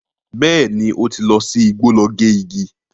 Bẹ́ẹ̀ni, ó ti lọ sí igbó lọ gé igi.